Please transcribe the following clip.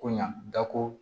Ko ɲa da ko